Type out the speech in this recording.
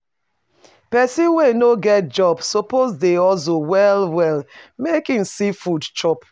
Pesin wey e no get job suppose dey hustle well-well make e see food chop.